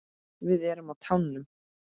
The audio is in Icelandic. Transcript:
Við erum á tánum.